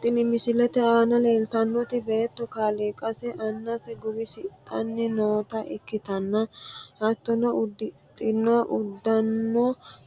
Tini misilete aana leeltannoti beetto kaaliiqa annase guwisidhanni noota ikkitanna hattono, uddidhino uduunnino